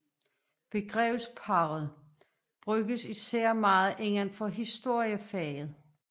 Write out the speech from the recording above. Begrebsparret bruges især meget inden for historiefaget